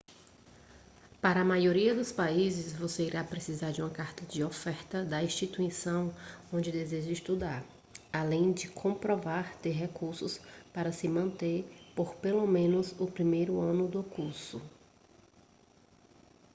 para a maioria dos países você irá precisar de uma carta de oferta da instituição onde deseja estudar além de comprovar ter recursos para se manter por pelo menos o primeiro ano do curso